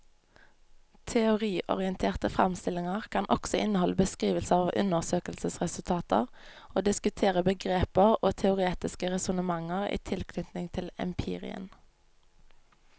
Teoriorienterte fremstillinger kan også inneholde beskrivelser av undersøkelsesresultater og diskutere begreper og teoretiske resonnementer i tilknytning til empirien.